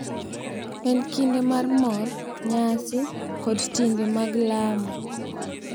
En kinde mar mor, nyasi, kod timbe mag lamo,